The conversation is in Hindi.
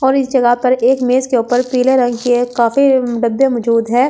और इस जगह पर एक मेज के ऊपर पीले रंग के ये काफी डब्‍बे मजूद है और साथ --